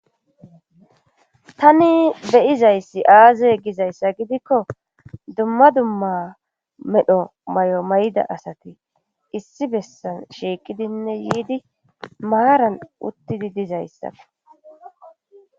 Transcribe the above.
Tani beyizayssi aaze gizayssa gidikko dumma dumma medho may'o may'da asati issi bessan shiiqidinne yiidi maaran uttidi dizayssa.